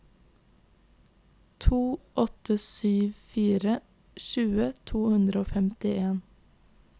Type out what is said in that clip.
to åtte sju fire tjue to hundre og femtien